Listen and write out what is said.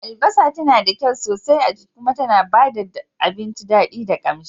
Albasa tana da kyau sosai a jiki kuma tana ba da abinci daɗi da ƙamshi.